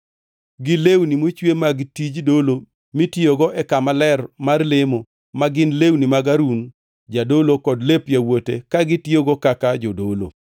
gi lewni mochwe mag tij dolo mitiyogo e kama ler mar lemo ma gin lewni mag Harun jadolo kod lep yawuote ka gitiyogo kaka jodolo.